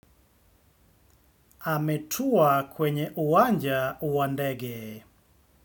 Ametua kwenye uwanja wa ndege.